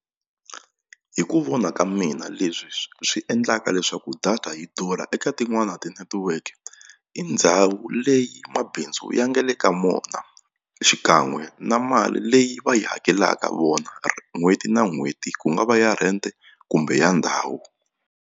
Hi ku vona ka mina leswi swi endlaka leswaku data yi durha eka tin'wani tinetiweke i ndhawu leyi mabindzu ya nga le ka mona xikan'we na mali leyi va yi hakelaka vona n'hweti na n'hweti ku nga va ya rhente kumbe ya ndhawu.